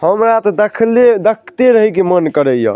हमरा ते देखले देखते रहे के मन करे या।